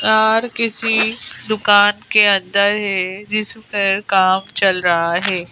Are किसी दुकान के अंदर है जिस पर काम चल रहा है।